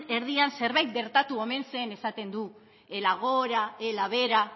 erdian zerbait gertatu omen zen esaten du ela gora ela behera